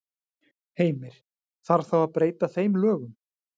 Heimir: Þarf þá að breyta þeim lögum?